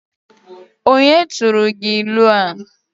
Onye tụrụ gị ịlụ a?